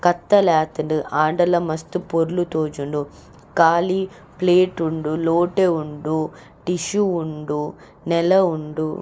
ಕತ್ತಲಾತುಂಡು ಆಂಡಲ ಮಸ್ತ್ ಪೊರ್ಲು ತೋಜುಂಡು ಕಾಲಿ ಪ್ಲೇಟ್ ಉಂಡು ಲೋಟೆ ಉಂಡು ಟಿಶ್ಯು ಉಂಡು ನೆಲ ಉಂಡು.